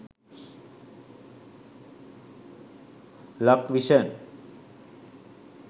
lakvision